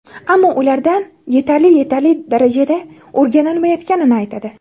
ammo ulardan yetarli yetarli darajada o‘rganilmayotganini aytadi.